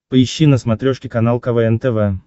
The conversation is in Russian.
поищи на смотрешке канал квн тв